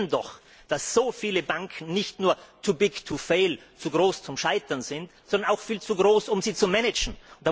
Wir erleben doch, dass so viele Banken nicht nur too big to fail zu groß zum Scheitern, sind, sondern auch viel zu groß, um sie zu managen.